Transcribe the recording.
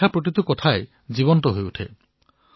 তেওঁ লিখা কথাসমূহ জীৱন্ত হৈ উঠে